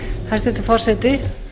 hæstvirtur forseti